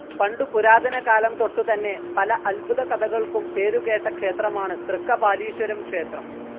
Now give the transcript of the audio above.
പണ്ടു പുരാതന കാലംതൊട്ടുതന്നെ പല അത്ഭുത കഥകൾക്കും പേരുകേട്ട ക്ഷേത്രമാണ് തൃക്കപാലീശ്വരം ക്ഷേത്രം.